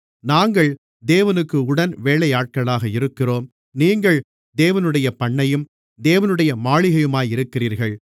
நாங்கள் தேவனுக்கு உடன்வேலையாட்களாக இருக்கிறோம் நீங்கள் தேவனுடைய பண்ணையும் தேவனுடைய மாளிகையுமாக இருக்கிறீர்கள்